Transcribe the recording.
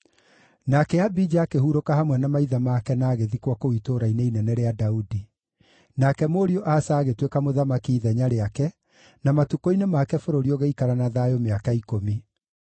Nake Abija akĩhurũka hamwe na maithe make na agĩthikwo kũu Itũũra-inĩ Inene rĩa Daudi. Nake mũriũ Asa agĩtuĩka mũthamaki ithenya rĩake, na matukũ-inĩ make bũrũri ũgĩikara na thayũ mĩaka ikũmi.